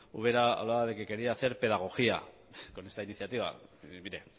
ubera hablaba de que quería hacer pedagogía con esta iniciativa mire